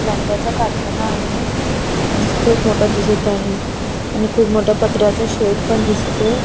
लाकडाचा कारखाना आहे आणि खूप मोठा दिसत आहे आणि खूप मोठा पत्र्याचा शेड पण दिसतोय.